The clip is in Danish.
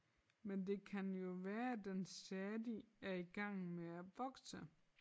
Men det kan jo være at den stadig er i gang med at vokse